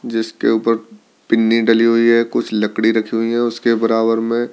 जिसके ऊपर पिन्नी डली हुई है कुछ लकड़ी रखी हुई है उसके बराबर में--